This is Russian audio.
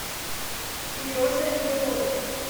сереже белове